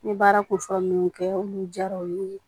N ye baara kunfɔlɔ minnu kɛ olu diyara u ye